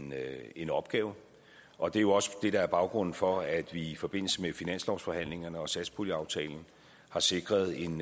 med en opgave og det er jo også det der er baggrunden for at vi i forbindelse med finanslovsforhandlingerne og satspuljeaftalen har sikret en